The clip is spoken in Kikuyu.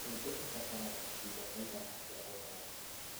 Mbembe ibataraga kahinda kaigana atĩa gũkũra?